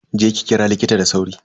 Je ki kira likita da sauri.